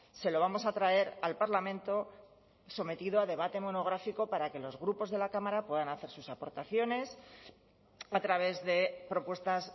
se lo vamos a traer al parlamento sometido a debate monográfico para que los grupos de la cámara puedan hacer sus aportaciones a través de propuestas